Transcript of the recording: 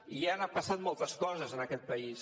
i han passat moltes coses en aquest país